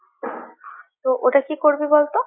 তো, ওটা কি করবি বল তো?